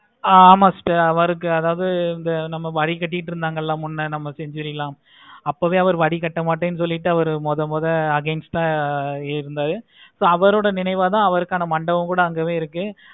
ஆஹ் ama sister அவருக்கு அதாவது இந்த வரி கட்டிட்டு இருந்தாங்கன்னா முன்ன நம்ம அப்போவே அவர் வரிக்கட்ட மாட்டான் சொல்லிட்டு அவர் அவர் மோதல் மொதல்ல against ஆஹ் இருந்தாரு. so அவரோட நினைவை தான் அவருக்கான மண்டபம் தான் அங்க இருந்தது.